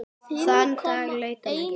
Þann dag leit hún ekki.